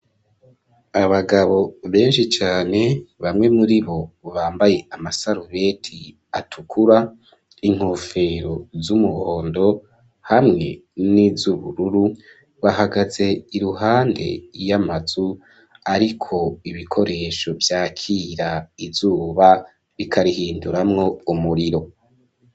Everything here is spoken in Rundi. Abagabo benshi cane, bamwe muri bo bambaye amasarubeti atukura, n'inkofero z'umuhondo, hamwe n'izubururu, bahagaze iruhande y'amazu ariko ibikoresho vyakira izuba bikarihinduramwo umuriro.